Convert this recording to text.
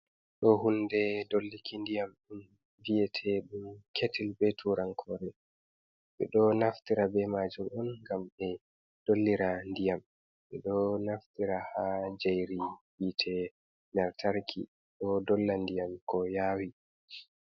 Ɗo hunde dolluki ndiyam viyete ɗum ketil be turan kore, ɓeɗo naftira be majum on ngam ɓe dollira ndiyam, ɓeɗo naftira ha njairi hite lantarki ɗo dolla ndiyam ko yawi.